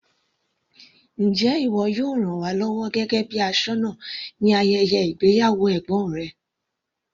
Njẹ́ ìwọ yóò ràn wá lọ́wọ́ gẹ́gẹ́ bíi aṣọ́nà ní ayẹyẹ ìgbéyàwó ẹ̀gbọ́n rẹ.